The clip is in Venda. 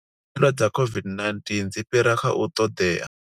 Khaelo dza COVID-19 dzi fhira kha u ṱoḓea